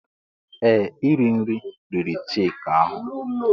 Ee! Iri nri riri Chika ahụ.